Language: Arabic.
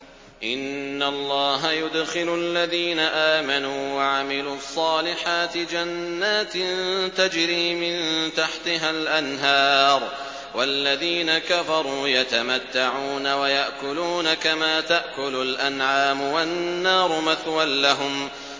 إِنَّ اللَّهَ يُدْخِلُ الَّذِينَ آمَنُوا وَعَمِلُوا الصَّالِحَاتِ جَنَّاتٍ تَجْرِي مِن تَحْتِهَا الْأَنْهَارُ ۖ وَالَّذِينَ كَفَرُوا يَتَمَتَّعُونَ وَيَأْكُلُونَ كَمَا تَأْكُلُ الْأَنْعَامُ وَالنَّارُ مَثْوًى لَّهُمْ